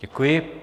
Děkuji.